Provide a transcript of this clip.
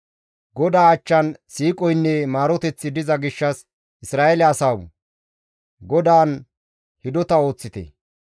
GODAA achchan siiqoynne maaroteththi diza gishshas Isra7eele asawu! GODAAN hidota ooththite.